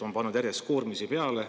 On pandud järjest koormisi peale.